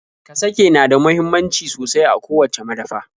Kasake na da muhimmanci sosai a kowacce madafa.